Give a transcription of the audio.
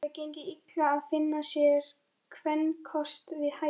Jóni hafði gengið illa að finna sér kvenkost við hæfi.